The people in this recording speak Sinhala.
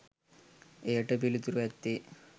එයට පිළිතුර ඇත්තේ